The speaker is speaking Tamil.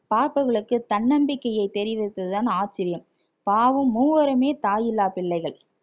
பார்ப்பவர்களுக்கு தன்னம்பிக்கையை தெரிவித்ததுதான் ஆச்சரியம் பாவம் மூவருமே தாயில்லா பிள்ளைகள்